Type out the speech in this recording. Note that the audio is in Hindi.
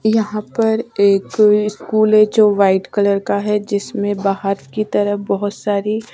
यहाँ पर एक स्कूल है जो वाइट कलर का है जिसमें बाहर की तरह बहुत सारी --